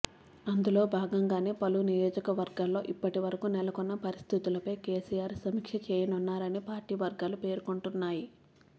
అందులో భాగంగానే పలు నియోజకవర్గాల్లో ఇప్పటివరకు నెలకొన్న పరిస్థితులపై కెసిఆర్ సమీక్ష చేయనున్నారని పార్టీ వర్గాలు పేర్కొంటున్నాయి